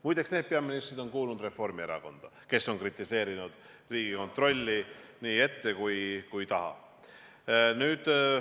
Muide, need peaministrid on kuulunud Reformierakonda, kes on kritiseerinud Riigikontrolli ette ja taha.